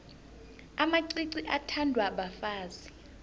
amacici athandwa bafazi